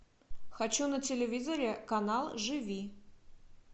хочу на телевизоре канал живи